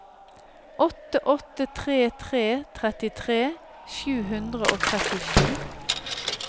åtte åtte tre tre trettitre sju hundre og trettisju